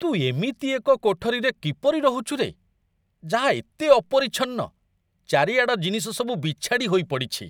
ତୁ ଏମିତି ଏକ କୋଠରୀରେ କିପରି ରହୁଛୁ ରେ, ଯାହା ଏତେ ଅପରିଚ୍ଛନ୍ନ, ଚାରିଆଡ଼ ଜିନିଷ ସବୁ ବିଛାଡ଼ି ହୋଇ ପଡ଼ିଛି?